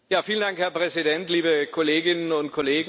Herr Präsident, liebe Kolleginnen und Kollegen!